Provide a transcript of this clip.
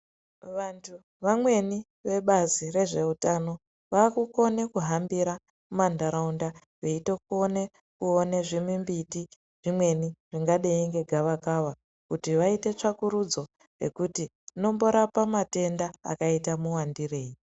Vantu vamweni vebazi rezveutano, vakukona kuhambira mumanharaunda. Veitokona kuona zvimbiti zvimweni zvingadai ngegavakava kuti vaite tsvakurudzo yekuti rinomborapa matenda akaita muwandirei.